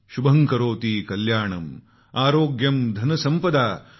शुभम् करोति कल्याणं आरोग्यं धनसंपदाम